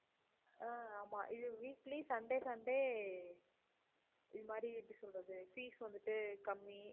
அஹ் ஆமா இது weekly sunday, sunday இது மாதிரி எப்படி சொல்றது fees வந்துட்டு கம்மி